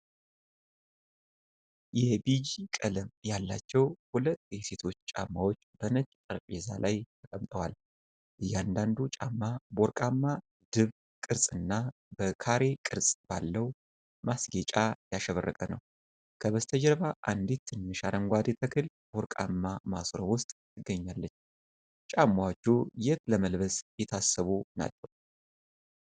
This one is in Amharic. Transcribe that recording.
የቢጂ ቀለም ያላቸው ሁለት የሴቶች ጫማዎች በነጭ ጠረጴዛ ላይ ተቀምጠዋል። እያንዳንዱ ጫማ በወርቃማ ድብ ቅርጽና በካሬ ቅርጽ ባለው ማስጌጫ ያሸበረቀ ነው። ከበስተጀርባ አንዲት ትንሽ አረንጓዴ ተክል በወርቃማ ማሰሮ ውስጥ ትገኛለች። ጫማዎቹ የት ለመልበስ የታሰቡ ናቸው?